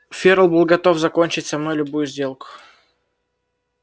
ферл был готов заключить со мной любую сделку